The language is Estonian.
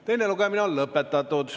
Teine lugemine on lõpetatud.